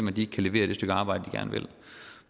at de ikke kan levere det stykke arbejde